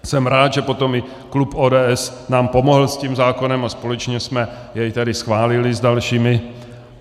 Jsem rád, že potom i klub ODS nám pomohl s tím zákonem a společně jsme jej tady schválili s dalšími.